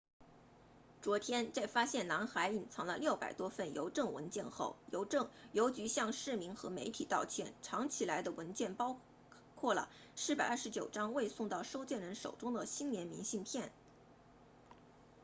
昨天在发现男孩隐藏了600多份邮政文件后邮局向市民和媒体道歉藏起来的文件包括了429张未送到收件人手中的新年明信片